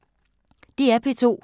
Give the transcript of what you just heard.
DR P2